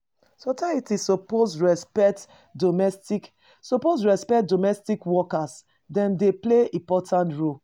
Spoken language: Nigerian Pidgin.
Society suppose respect domestic suppose respect domestic workers; dem dey play important role.